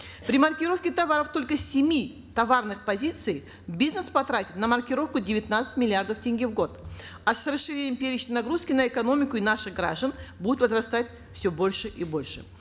при маркировке товаров только с семи товарных позиций бизнес потратит на маркировку девятнадцать миллиардов тенге в год а с расширением перечня нагрузки на экономику и наших граждан будет возрастать все больше и больше